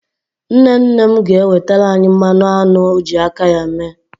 Nne nne m ga-ewetara anyị mmanụ aṅụ ọ ji aka ya mee.